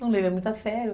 Não levei, muito a sério.